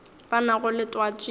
ba nago le twatši ye